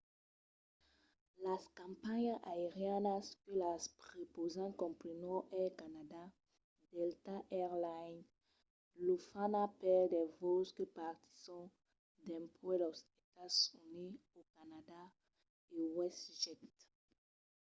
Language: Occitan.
las companhiás aerianas que las prepausan comprenon air canada delta air lines lufthansa per de vòls que partisson dempuèi los estats units o canadà e westjet